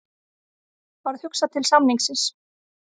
Varð hugsað til samningsins.